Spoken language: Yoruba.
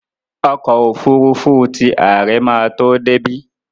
Ọkọ́ òfurufú ti àre máa tó débí.